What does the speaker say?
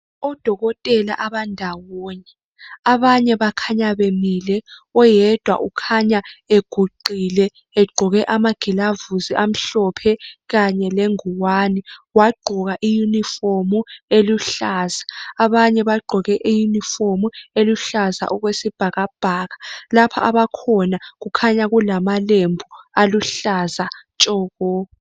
Odokotela abandawonye, abanye bakhanya bemile oyedwa ukhanya eguqile egqoke amagilavusi amhlophe khanye lengwane, wagqoka iuniform eluhlaza. Abanye bagqoke iuniform eluhlaza okwesibhakabhaka lapha abakhona kukhanya kulamalembu aluhlaza tshoko.